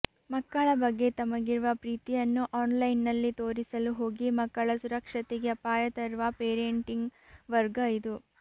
ಮಕ್ಕಳ ಬಗ್ಗೆ ತಮಗಿರುವ ಪ್ರೀತಿಯನ್ನು ಆನ್ಲೈನ್ನಲ್ಲಿ ತೋರಿಸಲು ಹೋಗಿ ಮಕ್ಕಳ ಸುರಕ್ಷತೆಗೆ ಅಪಾಯ ತರುವ ಪೇರೇಟಿಂಗ್ ವರ್ಗ ಇದು